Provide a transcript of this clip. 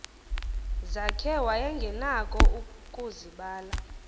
zakhe wayengenakho ukuzibala